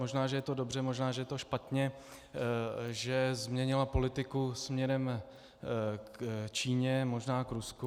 Možná že je to dobře, možná že je to špatně, že změnila politiku směrem k Číně, možná k Rusku.